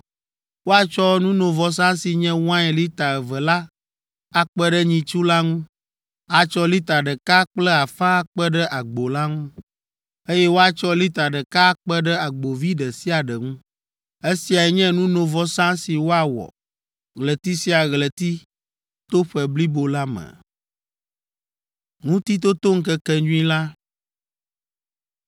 Woatsɔ nunovɔsa si nye wain lita eve la akpe ɖe nyitsu la ŋu, atsɔ lita ɖeka kple afã akpe ɖe agbo la ŋu, eye woatsɔ lita ɖeka akpe ɖe agbovi ɖe sia ɖe ŋu. Esiae nye nunovɔsa si woawɔ ɣleti sia ɣleti to ƒe blibo la me.